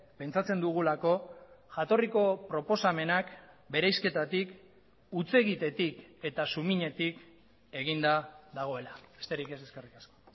pentsatzen dugulako jatorriko proposamenak bereizketatik hutsegitetik eta suminetik eginda dagoela besterik ez eskerrik asko